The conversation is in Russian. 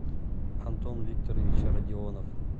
антон викторович родионов